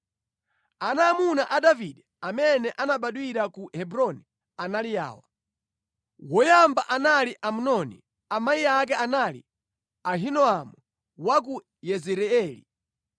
Ana aamuna a Davide amene anabadwira ku Hebroni anali awa: Woyamba anali Amnoni, amayi ake anali Ahinoamu wa ku Yezireeli.